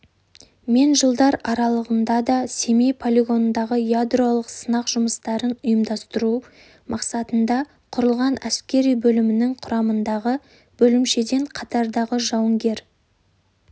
мен жылдар аралығынада семей полигонындағы ядролық сынақ жұмыстарын ұйымдастыру мақсатында құрылған әскери бөлімінің құрамындағы бөлімшеде қатардағы жауынгер